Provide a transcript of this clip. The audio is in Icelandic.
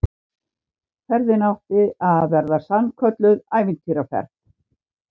Ferðin átti að verða sannkölluð ævintýraferð